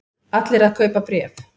Allir að kaupa bréf